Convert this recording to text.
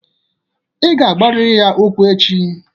Ị ga agwarịrị ya okwu echi!